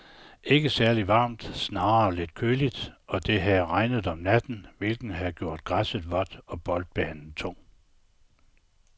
Ikke særligt varmt, snarere lidt køligt, og det havde regnet om natten, hvilket havde gjort græsset vådt og boldbanen tung.